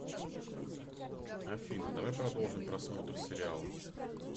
афина давай продолжим просмотр сериала